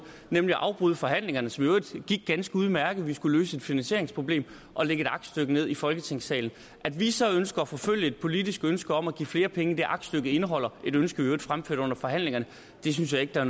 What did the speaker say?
nemlig at afbryde forhandlingerne som i øvrigt gik ganske udmærket vi skulle løse et finansieringsproblem og lægge et aktstykke ned i folketingssalen at vi så ønsker at forfølge et politisk ønske om at give flere penge end det aktstykket indeholder et ønske vi i øvrigt fremførte under forhandlingerne synes jeg ikke der